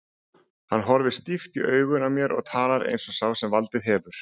Hann horfir stíft í augun á mér og talar eins og sá sem valdið hefur.